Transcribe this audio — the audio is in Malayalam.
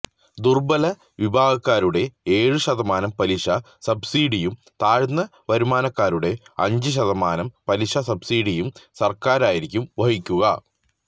ദുര്ബല വിഭാഗക്കാരുടെ ഏഴ് ശതമാനം പലിശ സബ്സിഡിയും താഴ്ന്ന വരുമാനക്കാരുടെ അഞ്ച് ശതമാനം പലിശ സബ്സിഡിയും സര്ക്കാറായിരിക്കും വഹിക്കുക